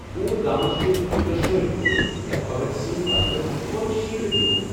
پوُرٕ گامس چھ دۄشوے ڈوز یا کوویکینس بدلہٕ کووی شیلڈ میٚوُلمُت۔